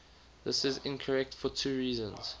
this is incorrect for two reasons